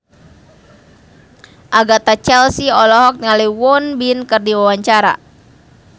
Agatha Chelsea olohok ningali Won Bin keur diwawancara